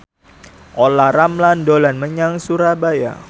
Olla Ramlan dolan menyang Surabaya